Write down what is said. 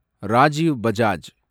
Rajiv Bajaj